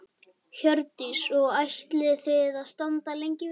Hjördís: Og ætlið þið að staldra lengi við?